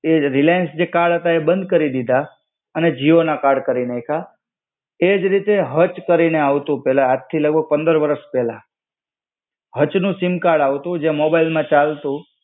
એજ રિલાયન્સ જે કાર્ડ હતા તે બંદ કરી દીધા અને જીઓ નાં કાર્ડ કરી નાઈખા. એજ રીતે હચ કરીને આવતું પેલા, આજથી લગ-ભગ પંદર વર્ષ પેલા. હચ નું સિમ કાર્ડ આવતું જે મોબાઈલમાં ચાલતું.